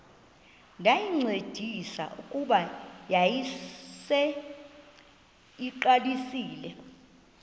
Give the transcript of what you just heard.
ndayincedisa kuba yayiseyiqalisile